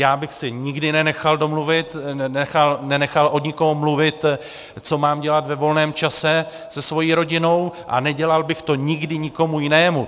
Já bych si nikdy nenechal od nikoho mluvit, co mám dělat ve volném čase se svou rodinou, a nedělal bych to nikdy nikomu jinému.